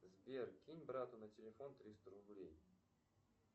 сбер кинь брату на телефон триста рублей